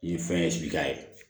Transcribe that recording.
Nin fɛn ye ye